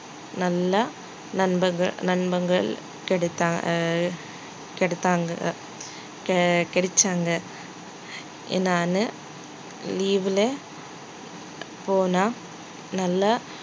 நல்ல நண்பர்கள் நண்பர்கள் கிடைத்தாங்க ஆஹ் கிடைத்தா~ கிடைச்சாங்க நானு leave ல போனா நல்லா